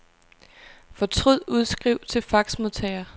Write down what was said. Fortryd udskriv til faxmodtager.